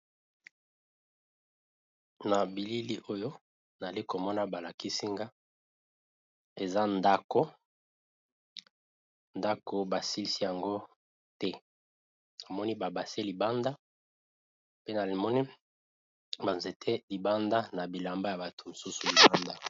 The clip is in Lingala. Na bilili oyo nali komona balakisinga eza ndako, ndako basilsi yango te namoni ba bassin libanda pe namoni ba nzete libanda na bilamba ya bato mosusu libanda.